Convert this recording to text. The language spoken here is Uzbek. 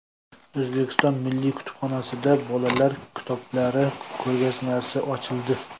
O‘zbekiston Milliy kutubxonasida bolalar kitoblari ko‘rgazmasi ochildi.